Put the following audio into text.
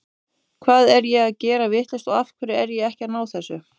Hvað er ég að gera vitlaust og af hverju er ég ekki að ná þessu?